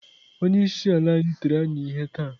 Onye isi ala anyị tiri anyị ihe taa.